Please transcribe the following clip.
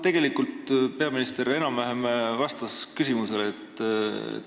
Tegelikult peaminister enam-vähem vastas küsimusele.